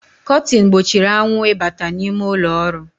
Kọtin gbochiri anwụ ịbata n’ime ụlọọrụ